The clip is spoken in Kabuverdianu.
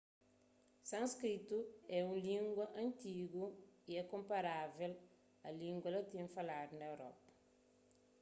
sânskritu é un língua antigu y é konparável a língua latin faladu na europa